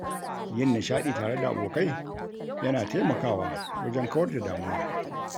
Yin nishaɗi tare da abokai yana taimakawa wajen kawar da damuwa.